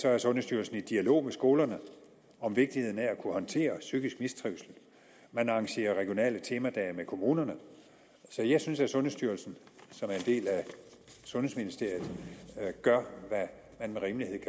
er sundhedsstyrelsen i dialog med skolerne om vigtigheden af at kunne håndtere psykisk mistrivsel man arrangerer regionale temadage med kommunerne så jeg synes at sundhedsstyrelsen som er en del af sundhedsministeriet gør hvad man med rimelighed kan